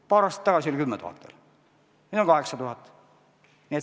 Paar aastat tagasi oli veel 10 000, nüüd on 8000.